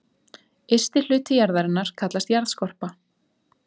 Ysti hluti jarðarinnar kallast jarðskorpa.